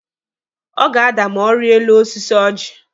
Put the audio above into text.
Ọ ga-ada ma ọ rie elu osisi oji.